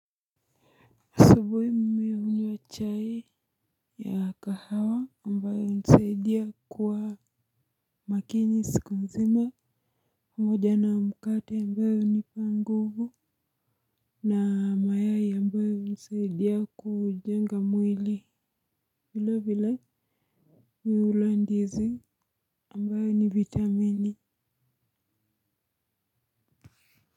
Asubuhi mimi hunywa chai ya kahawa ambayo inanisaidia kwa makini siku mzima pamoja na mkate ambayo hunipa nguvu na mayai ambayo hunisaidia kujenga mwili vile vile mimi hula ndizi ambayo ni vitamini.